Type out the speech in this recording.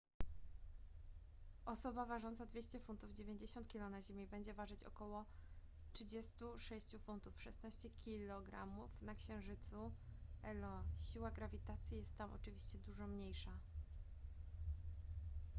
osoba ważąca 200 funtów 90 kg na ziemi będzie ważyć około 36 funtów 16 kg na księżycu io. siła grawitacji jest tam oczywiście dużo mniejsza